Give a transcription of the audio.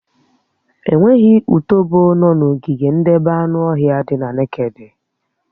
Enweghị utòbó nọ̀ n'ogige ndebé anụ ọhịa dị na nekede